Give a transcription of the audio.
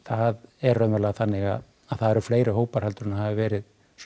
er raunverulega þannig að það eru fleiri hópar en hafa verið